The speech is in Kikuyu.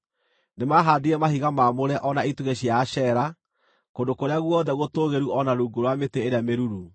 Nĩmahaandire mahiga maamũre o na itugĩ cia Ashera, kũndũ kũrĩa guothe gũtũũgĩru o na rungu rwa mĩtĩ ĩrĩa mĩruru.